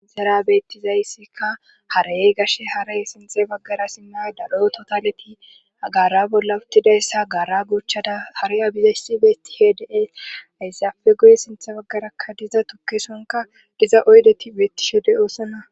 izara bettizayssika harayey gashe haray sinxe baggara simmay dalo totaleti agara bolla uttidayssa gara gochchada hari abizayssi beeti hedee ayssi afe goye sinthe baggarakka diza tukkesonka giza oydeti beettishede oosana